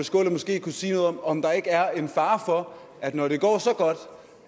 skaale måske kunne sige noget om om der ikke er en fare for når det går så godt